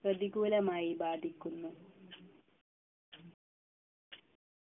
പ്രതികൂലമായി ബാധിക്കുന്നു